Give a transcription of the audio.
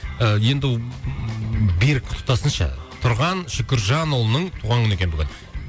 і енді берік құттықтасыншы тұрған шүкіржанұлының туған күні екен бүгін